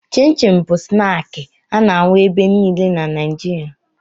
Chịn chịn bụ snaakị a na-ahụ ebe niile na Naịjirịa